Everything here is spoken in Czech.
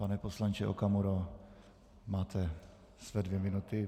Pane poslanče Okamuro, máte své dvě minuty.